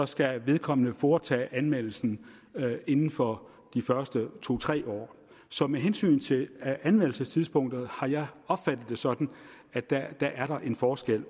skal vedkommende foretage anmeldelsen inden for de første to tre år så med hensyn til anmeldelsestidspunktet har jeg opfattet det sådan at der er der er en forskel